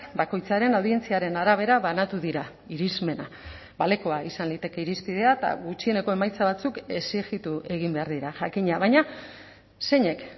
bakoitzaren audientziaren arabera banatu dira irismena balekoa izan liteke irizpidea eta gutxieneko emaitza batzuk exijitu egin behar dira jakina baina zeinek